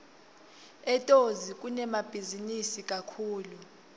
etozi kunemabhizinisi kakhulu